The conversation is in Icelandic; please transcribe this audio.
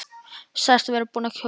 Sagðist vera búinn að kjósa.